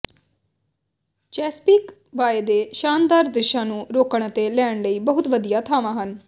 Chesapeake Bay ਦੇ ਸ਼ਾਨਦਾਰ ਦ੍ਰਿਸ਼ਾਂ ਨੂੰ ਰੋਕਣ ਅਤੇ ਲੈਣ ਲਈ ਬਹੁਤ ਵਧੀਆ ਥਾਵਾਂ ਹਨ